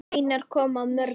Einar kom að mörgu.